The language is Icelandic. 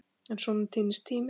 En svona týnist tíminn.